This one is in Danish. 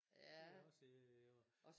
Det også i år